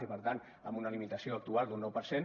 i per tant amb una limitació actual d’un nou per cent